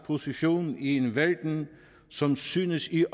position i en verden som synes i